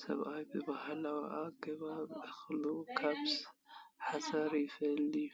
ሰብኣይ ብባህላዊ ኣገባብ እኽሊ ካብ ሓሰር ይፈልዮ።